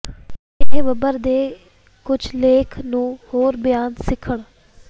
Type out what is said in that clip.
ਇਹ ਬੱਬਰ ਦੇ ਕੁਝ ਲੇਖ ਨੂੰ ਹੋਰ ਬਿਆਨ ਸਿੱਖਣ